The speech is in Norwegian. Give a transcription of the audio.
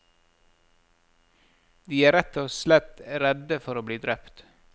De er rett og slett redde for å bli drept.